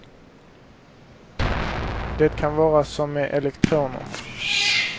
Det kan vara som med elektronerna.